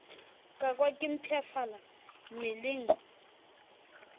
ka kwa ke mpshafala mmeleng